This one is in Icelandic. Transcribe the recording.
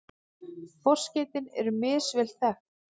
Forskeytin eru misvel þekkt.